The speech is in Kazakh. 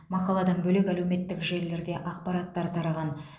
мақаладан бөлек әлеуметтік желіде де ақпараттар тараған